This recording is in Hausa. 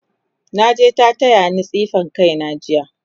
naje ta tayani tsefe kaina jiya